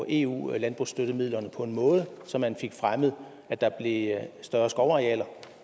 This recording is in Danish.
eu landbrugsstøttemidlerne på en måde så man fik fremmet at der blev større skovarealer